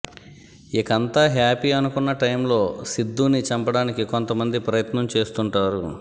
ఇకంతా happy అనుకున్న టైంలో సిద్ధుని చంపడానికి కొంతమంది ప్రయత్నం చేస్తుంటారు